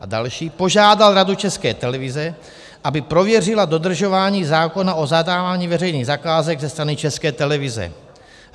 A další - požádal Radu České televize, aby prověřila dodržování zákona o zadávání veřejných zakázek ze strany České televize;